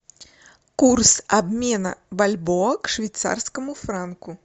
курс обмена бальбоа к швейцарскому франку